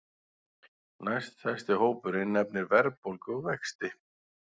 Næststærsti hópurinn nefnir verðbólgu og vexti